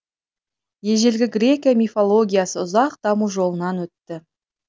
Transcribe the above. ежелгі грекия мифологиясы ұзақ даму жолынан өтті